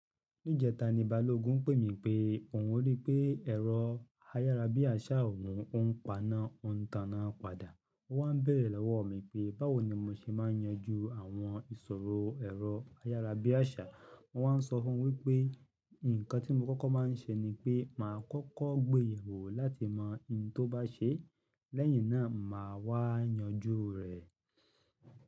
Ní ìjẹta ni Balógun pè mí pé òun rí i pé ẹ̀rọ ayárabíàṣá òun o n pana, ó ń tana padà. Ó wá n béèrè lọwọ́ mi pé báwo ni mo ṣe máa ń yanjú àwọn ìṣòro ẹ̀rọ ayárabíàṣá. Mo wá ń sọ fún wípé nǹkan tí mo kọ́kọ́ máa ń ṣe ni pé màá kọ́kọ́ gbéyẹwò láti mọ ìn tó bá ṣe. Lẹ́yìn náà, màá wá yanjú rẹ̀.